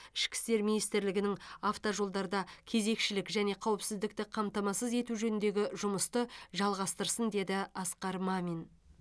ішкі істер министрлігінің автожолдарда кезекшілік және қауіпсіздікті қамтамасыз ету жөніндегі жұмысты жалғастырсын деді асқар мамин